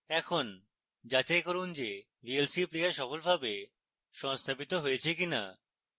এখন যাচাই করুন যে vlc player সফলভাবে সংস্থাপিত হয়েছে কিনা